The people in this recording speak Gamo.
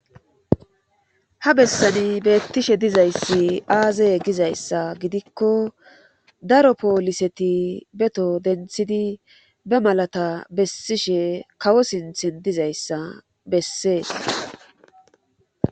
Ha bessani beettishe dizayssi aazey gizayssa gidikko daro pooliseti beto denthidi be malata bessishe kawo sinthin dizayssa bessee.